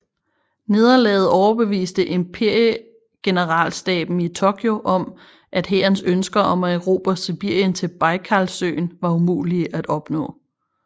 Nederlaget overbeviste imperiegeneralstaben i Tokyo om at hærens ønsker om at erobre Sibirien til Bajkalsøen var umulige at opnå